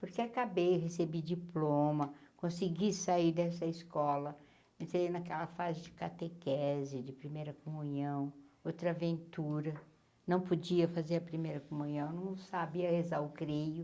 Porque acabei recebi diploma, consegui sair dessa escola, entrei naquela fase de catequese, de primeira comunhão, outra aventura, não podia fazer a primeira comunhão, não sabia rezar o creio,